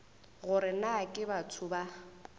gore na ke batho ba